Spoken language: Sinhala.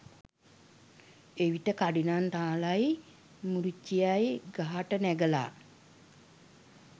එවිට කඩිනම් රාළයි මුරිච්චියයි ගහට නැගලා